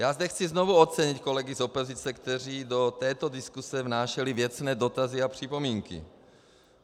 Já zde chci znovu ocenit kolegy z opozice, kteří do této diskuse vnášeli věcné dotazy a připomínky.